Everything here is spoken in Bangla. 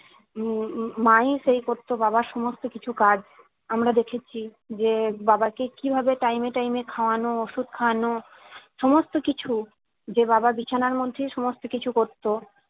উম উম উম মা ই সেই করতো বাবার সমস্ত কিছু কাজ আমরা দেখেছি যে বাবা কে কিভাবে time এ time এ খাওয়ানো ওষুধ খাওয়ানো সমস্ত কিছু যে বাবা বিছানার মধ্যেই সমস্ত কিছু করতো